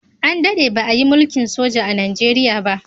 An daɗe ba a yi mulkin soja a Najeriya ba.